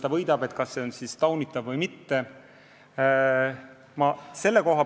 Ja kui lõikab, kas see on siis taunitav või mitte?